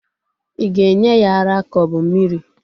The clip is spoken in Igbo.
Ị ga-enye ya ara ka o bu mmiri?